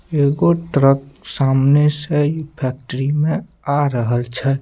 एगो ट्रक सामने से ई फैक्ट्री में आ रहल छै।